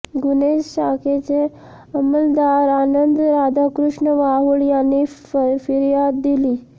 गुन्हे शाखेचे अंमलदार आनंद राधाकृष्ण वाहूळ यांनी फिर्याद दिली